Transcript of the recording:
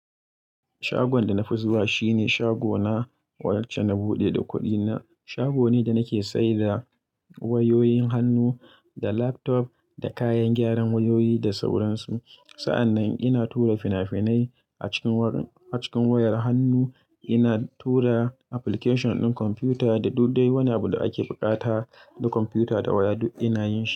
Shagon da na fi zuwa shine shagona wacce na buɗe da kuɗina. Shago ne da nake saida wayoyin hannu da laptop da kayan gyaran wayoyi da sauran su. Sa'annan ina tura fina-finai a cikin wayar hannu, ina tura application ɗin kwamfuta da duk dai wani abu da ake buƙata na kwamfuta da waya duk ina yi.